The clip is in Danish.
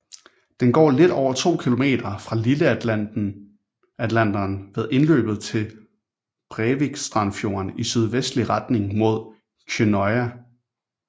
Den går lidt over to kilometer fra Lilleatlanteren ved indløbet til Brevikstrandfjorden i sydvestlig retning mod Kjønnøya